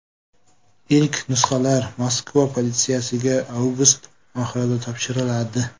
Ilk nusxalar Moskva politsiyasiga avgust oxirida topshiriladi.